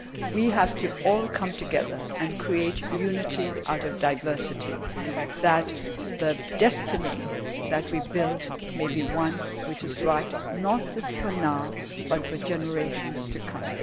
races. We all have to come together and create unity out of diversity so that the destiny that we build may be one that is right not just for now but for generations